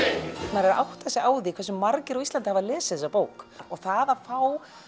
maður er að átta sig á því hversu margir á Íslandi hafa lesið þessa bók og það að fá